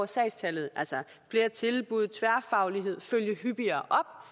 sagstallet altså flere tilbud tværfaglighed følge hyppigere